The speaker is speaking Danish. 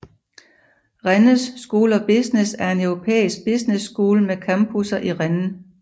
Rennes School of Business er en europæisk business school med campusser i Rennes